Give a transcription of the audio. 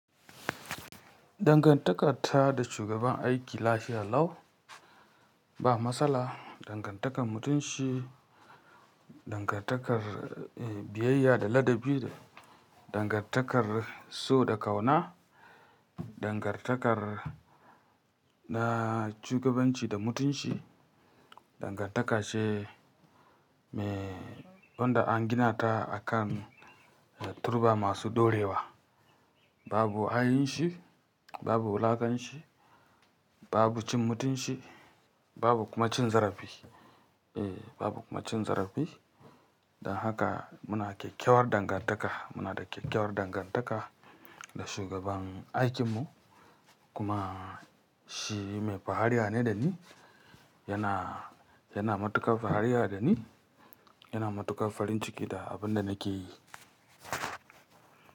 Dangantaka ta da shugaban aiki lafiya lau, ba matsala. Dangantakar mutunci, dangantakar, eh, biyayya da ladabi da dangantakar so da ƙauna, dangantakar na shugabanci da mutunci, dangantaka ce me, wanda an gina ta akan turba masu ɗorewa. Babu ha'inci, babu wulakanci, babu cin mutunci, babu kuma cin zarafi. Eh, babu kuma cin zarafi. Don haka muna kyakkyawar dangantaka. Muna da kyakkyawar dangantaka da shugaban aikinmu. Kuma shi mai fariya ne da ni, yana, yana matukar fariya da ni, yana matukar farin ciki da abin da nake yi.